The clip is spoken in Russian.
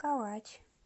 калач